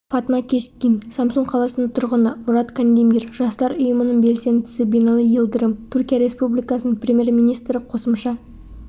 фатма кескин самсун қаласының тұрғыны мұрат кандемир жастар ұйымының белсендісі бинали йылдырым түркия республикасының премьер-министрі қосымша